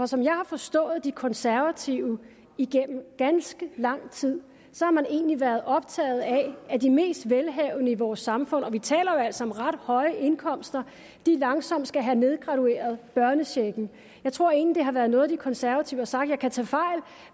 som jeg har forstået de konservative igennem ganske lang tid så har man egentlig været optaget af at de mest velhavende i vores samfund og vi taler altså om ret høje indkomster langsomt skal have nedgradueret børnechecken jeg tror egentlig det har været noget de konservative har sagt jeg kan tage fejl